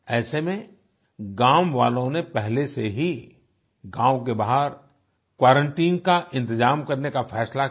ऐसे में गांव वालों ने पहले से ही गांव के बाहर क्वारंटाइन का इंतजाम करने का फैसला किया